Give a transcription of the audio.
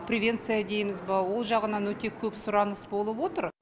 привенция дейміз ба ол жағынан өте көп сұраныс болып отыр